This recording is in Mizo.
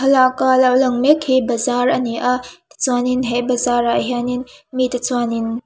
thlalaka lo lang mek hi bazar ani a tichuanin he bazar ah hianin mi te chuangin--